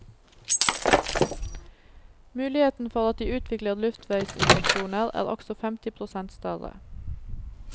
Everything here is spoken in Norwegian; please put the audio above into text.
Muligheten for at de utvikler luftveisinfeksjoner er også femti prosent større.